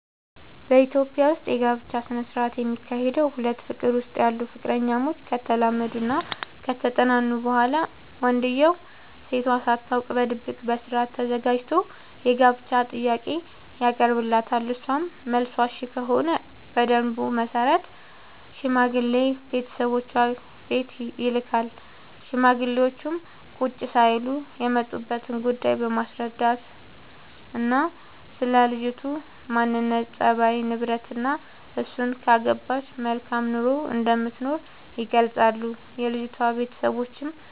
በኢትዮጵያ ዉስጥ የጋብቻ ስነ ስርዓት የሚካሄደዉ ሁለት ፍቅር ዉስጥ ያሉ ፍቅረኛሞች ከተላመዱናከተጠናኑ በኋላ ወንድዬው ሴቷ ሳታውቅ በድብቅ በስርአት ተዘጋጅቶ የታገቢኛለሽ ጥያቄ ያቀርብላታል እሷም መልሷ እሽ ከሆነ በደንቡ መሰረት ሽማግሌ ቤተሰቦቿ ቤት ይልካል ሽማግሌዎቹም ቁጭ ሳይሉ የመጡበትን ጉዳይ በማስረዳትናስለ ልጅቱ ማንነት፣ ፀባይ፤ ንብረትናእሱን ካገባች መልካም ኑሮ እንደምትኖር ይገልጻሉ። የልጅቷም ቤተሰቦች